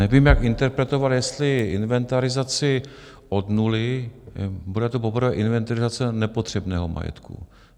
Nevím, jak interpretovat, jestli inventarizaci od nuly - bude to poprvé inventarizace nepotřebného majetku.